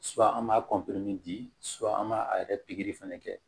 an b'a di an b'a a yɛrɛ pikiri fana kɛ